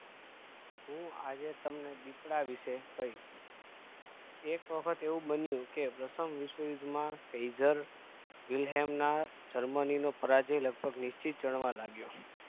હું આજે તમને દીપડા વિષે કહીશ એક વખત એવું બન્યું કે પ્રથમ વિશ્વયુદ્વ માં Father Wilhelm ના Germany નો પરાજય લગભગ નિશ્ચિત જાણવા લાગ્યો